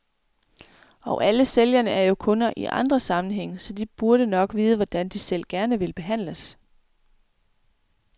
Og alle sælgerne er jo kunder i andre sammenhænge, så de burde nok vide, hvordan de selv gerne vil behandles.